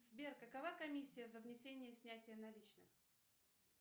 сбер какова комиссия за внесение и снятие наличных